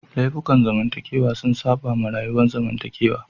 Laifukan zamantakewa sun saba wa rayuwar zamantakewa